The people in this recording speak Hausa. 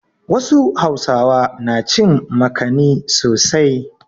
Wasu Hausawa na cin makani sosai.